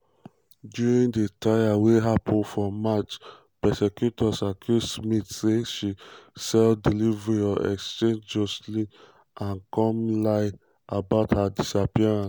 during di trial wey happun for march prosecutors accuse smith say she "sell deliver or exchange" joshlin and come um lie about her disappearance.